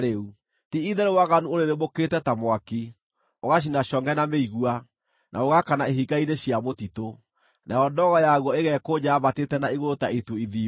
Ti-itherũ waganu ũrĩrĩmbũkĩte ta mwaki, ũgacina congʼe na mĩigua, na ũgaakana ihinga-inĩ cia mũtitũ, nayo ndogo yaguo ĩgeekonja yambatĩte na igũrũ ta itu ithimbu.